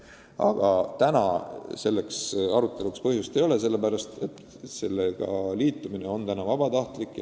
Aga täna ei ole selleks aruteluks põhjust, sest projektiga liitumine on vabatahtlik.